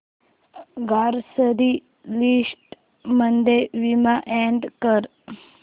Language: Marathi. ग्रॉसरी लिस्ट मध्ये विम अॅड कर